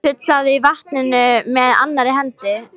Sullaði í vatninu með annarri hendi.